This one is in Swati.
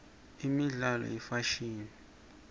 imibzalo yefashini